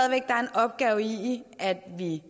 er en opgave i at vi